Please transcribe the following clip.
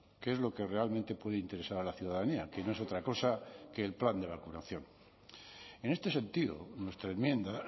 que es lo que realmente puede interesar a la ciudadanía que no es otra cosa que el plan de vacunación en este sentido nuestra enmienda